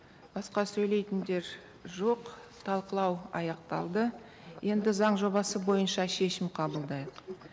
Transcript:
басқа сөйлейтіндер жоқ талқылау аяқталды енді заң жобасы бойынша шешім қабылдайық